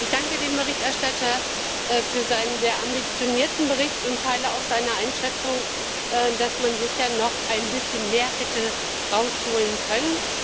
Ich danke dem Berichterstatter für seinen sehr ambitionierten Bericht und teile auch seine Einschätzung, dass man sicher noch ein bisschen mehr hätte herausholen können.